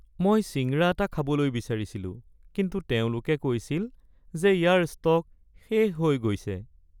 মই ছিংৰা এটা খাবলৈ বিচাৰিছিলো কিন্তু তেওঁলোকে কৈছিল যে ইয়াৰ ষ্টক শেষ হৈ গৈছে।